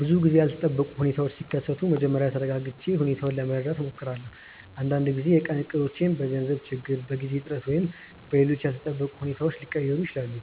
ብዙ ጊዜ ያልተጠበቁ ሁኔታዎች ሲከሰቱ መጀመሪያ ተረጋግቼ ሁኔታውን ለመረዳት እሞክራለሁ። አንዳንድ ጊዜ የቀን እቅዶች በገንዘብ ችግር፣ በጊዜ እጥረት ወይም በሌሎች ያልተጠበቁ ሁኔታዎች ሊቀየሩ ይችላሉ።